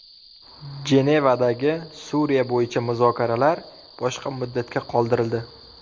Jenevadagi Suriya bo‘yicha muzokaralar boshqa muddatga qoldirildi.